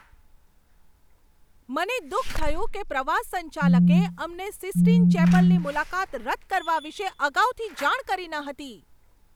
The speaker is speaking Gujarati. મને દુઃખ થયું કે પ્રવાસ સંચાલકે અમને સિસ્ટીન ચેપલની મુલાકાત રદ કરવા વિશે અગાઉથી જાણ કરી ન હતી.